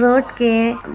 road के